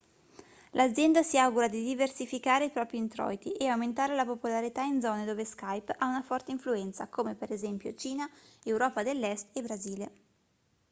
l'azienda si augura di diversificare i propri introiti e aumentare la popolarità in zone dove skype ha una forte influenza come per esempio cina europa dell'est e brasile